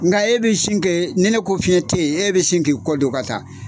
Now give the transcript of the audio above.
Nka e bɛ sin kɛ ni ne ko fiɲɛ tɛ yen, e bɛ sin k'i kɛ kɔ don ka taa.